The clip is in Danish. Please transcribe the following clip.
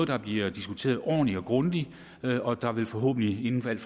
der bliver diskuteret ordentligt og grundigt og der vil forhåbentlig inden for ikke